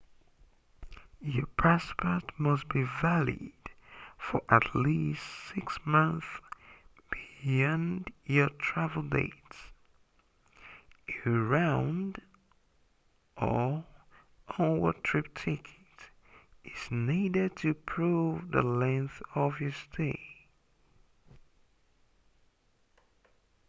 your passport must be valid for at least 6 months beyond your travel dates. a round/onward trip ticket is needed to prove the length of your stay